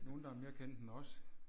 Nogen der er mere kendt end os